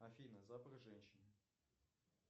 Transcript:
афина запах женщины